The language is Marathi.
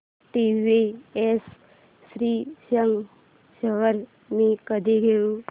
टीवीएस श्रीचक्र शेअर्स मी कधी घेऊ